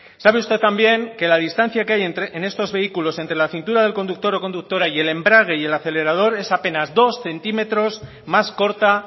sabe usted también que la distancia que hay en estos vehículos entre la cintura del conductor o conductora y el embrague y el acelerador es apenas dos centímetros más corta